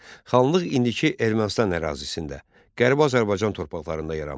Xanlıq indiki Ermənistan ərazisində, Qərbi Azərbaycan torpaqlarında yaranmışdı.